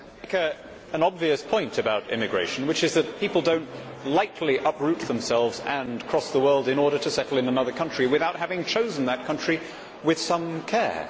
Madam President, an obvious point about immigration is that people do not lightly uproot themselves and cross the world in order to settle in another country without having chosen that country with some care.